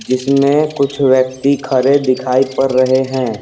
जिसमें कुछ व्यक्ति खड़े दिखाई पड़ रहे हैं।